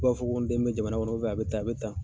Fu b'a fɔ ko n den bɛ jamana kɔnɔ a be tan a be tan.